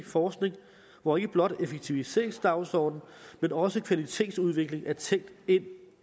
forskning hvor ikke blot en effektiviseringsdagsorden men også kvalitetsudvikling er tænkt ind